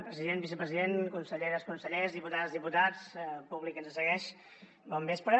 president vicepresident conselleres consellers diputades diputats públic que ens segueix bon vespre